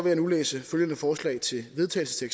jeg nu læse følgende forslag til vedtagelse